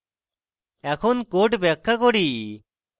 এখন code ব্যাখ্যা করি